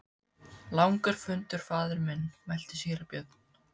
Langur fundur faðir minn, mælti síra Björn.